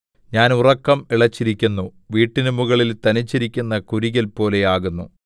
ഞാൻ ഉറക്കം ഇളച്ചിരിക്കുന്നു വീട്ടിന്മുകളിൽ തനിച്ചിരിക്കുന്ന കുരികിൽ പോലെ ആകുന്നു